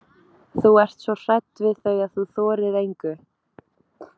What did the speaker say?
Þú ert svo hrædd við þau að þú þorir engu.